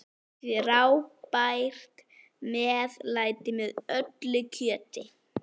Frábært meðlæti með öllu kjöti.